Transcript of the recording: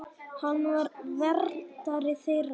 Hann var verndari þeirra.